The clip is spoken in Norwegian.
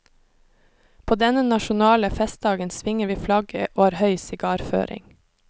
På denne nasjonale festdagen svinger vi flagget og har høy sigarføring.